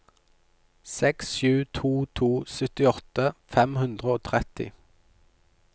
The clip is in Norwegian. seks sju to to syttiåtte fem hundre og tretti